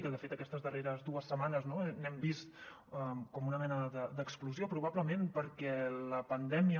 que de fet aquestes darreres dues setmanes no n’hem vist com una mena d’explosió probablement perquè la pandèmia